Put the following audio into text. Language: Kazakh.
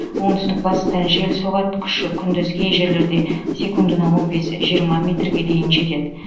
оңтүстік батыстан жел соғады күші күндіз кей жерлерде секундына он бес жиырма метрге дейін жетеді